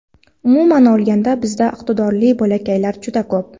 Umuman olganda bizda iqtidorli bolakaylar juda ko‘p.